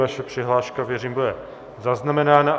Vaše přihláška, věřím, bude zaznamenána.